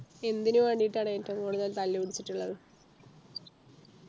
എന്തിനു വേണ്ടീട്ടാണ് ഏറ്റവും കൂടുതൽ തല്ലു പിടിച്ചിട്ടുള്ളത്